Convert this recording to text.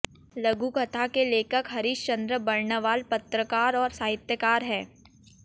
लघुकथा के लेखक हरीश चंद्र बर्णवाल पत्रकार और साहित्यकार हैं